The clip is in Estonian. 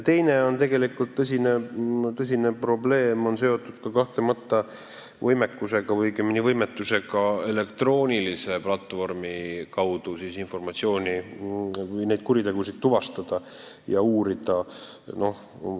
Teine tõsine probleem on kahtlemata seotud võimekusega või õigemini võimetusega elektroonilise platvormi kaudu informatsiooni või neid kuritegusid tuvastada ja uurida.